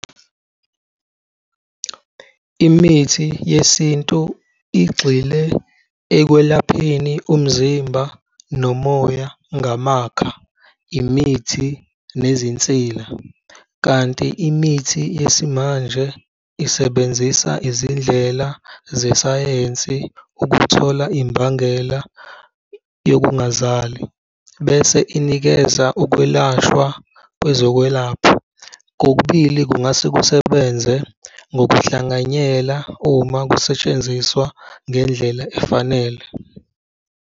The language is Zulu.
Imithi yesintu igxile ekwelapheni umzimba nomoya ngamakha, imithi, nezinsila. Kanti imithi yesimanje isebenzisa izindlela zesayensi ukuthola imbangela yokungazali bese inikeza ukwelashwa kwezokwelapha. Kokubili kungase kusebenze ngokuhlanganyela uma kusetshenziswa ngendlela efanele.